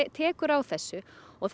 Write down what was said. tekur á þessu og